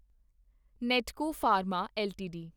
Natco pharma LTD